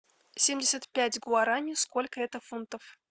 семьдесят пять гуарани сколько это фунтов